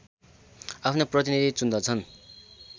आफ्नो प्रतिनीधि चुन्दछन्